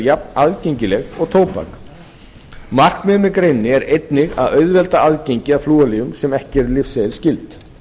jafnaðgengileg og tóbak markmiðið með greininni er einnig að auðvelda aðgengi að flúorlyfjum sem ekki eru lyfseðilsskyld